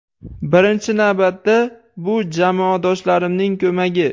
Birinchi navbatda bu jamoadoshlarimning ko‘magi.